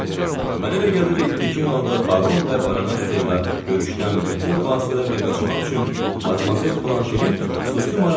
Mənə elə gəlir indiki halda Baron və Barona Steyla görüşdən bütün vasitələrlə qaçmaq üçün Madmazel Blanşenin xüsusi marağı var.